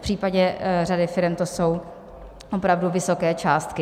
V případě řady firem to jsou opravdu vysoké částky.